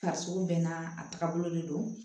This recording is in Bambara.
Fariso mɛn a taga bolo de don